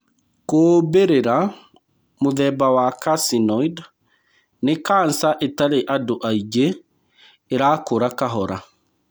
Kuumbĩrĩra mũthemba wa carcinoid nĩ kanca ĩtarĩ andũ aingĩ ĩrakũra kahora.